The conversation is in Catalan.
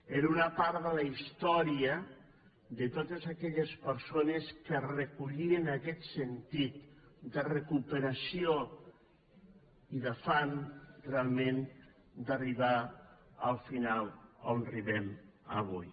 era una part de la història de totes aquelles persones que recollien aquest sentit de recuperació i d’afany realment d’arribar al final on arribem avui